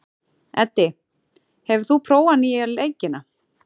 Eddi, hefur þú prófað nýja leikinn?